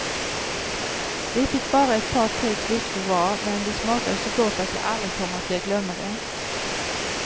Vi fick bara ett par tre klyftor var, men det smakade så gott att jag aldrig kommer att glömma det.